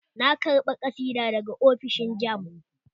Na karɓa ƙasidar daga ofishin jamb